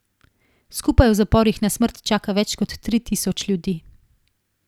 Skupaj v zaporih na smrt čaka več kot tri tisoč ljudi.